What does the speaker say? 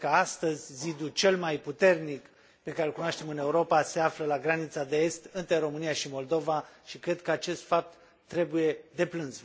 Cred că astăzi zidul cel mai puternic pe care îl cunoaștem în Europa se află la granița de est, între România și Moldova, și cred că acest fapt trebuie deplâns.